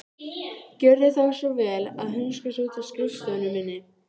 Gjörðu þá svo vel að hunskast út af skrifstofunni minni.